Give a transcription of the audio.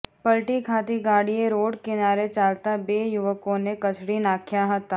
પલટી ખાતી ગાડીએ રોડ કિનારે ચાલતાં બે યુવકોને કચડી નાંખ્યા હતાં